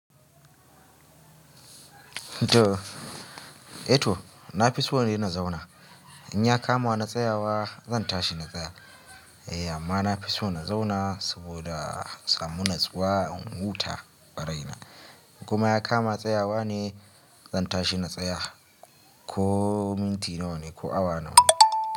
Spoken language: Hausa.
Eh to, na fi so ne na zauna. In ya kama na tsayawa zan tashi na tsaya. Eh amma na fi so na zauna saboda samu natsuwa, in huta ƙwarai. Kuma ya kama tsayawa ne zan tashi na tsaya ko minti nawa ne ko awa nawa ne.